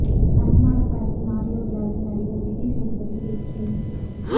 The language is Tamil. கன்னி மாடம் படத்தின் ஆடியோ விழாவில் நடிகர் விஜய் சேதுபதி பேச்சு